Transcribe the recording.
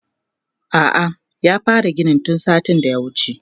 a'a ya fara ginin tun satin da ya wuce